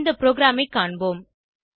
இந்த ப்ரோகிராமை காண்போம்